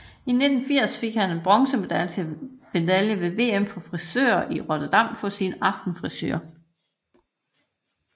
I 1980 fik han en bronzemedalje ved VM for frisører i Rotterdam for sin Aftenfrisure